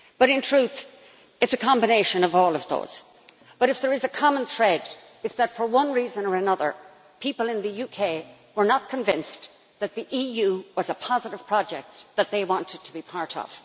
In truth, it is a combination of all of those things, but if there is a common thread, it is that, for one reason or another, people in the UK were not convinced that the EU was a positive project that they wanted to be part of.